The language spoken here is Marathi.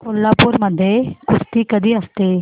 कोल्हापूर मध्ये कुस्ती कधी असते